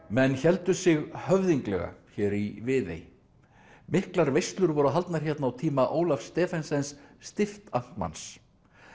menn héldu sig höfðinglega hér í Viðey miklar veislur voru haldnar hérna á tíma Ólafs Stephensens stiftamtmanns